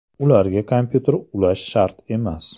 Ularga kompyuter ulash shart emas.